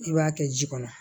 I b'a kɛ ji kɔnɔ